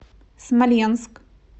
смоленск